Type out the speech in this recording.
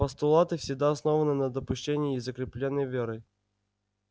постулаты всегда основаны на допущении и закреплены верой